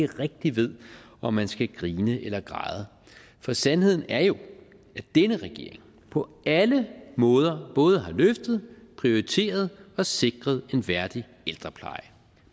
rigtig ved om man skal grine eller græde for sandheden er jo at denne regering på alle måder både har løftet prioriteret og sikret en værdig ældrepleje